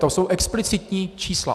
To jsou explicitní čísla.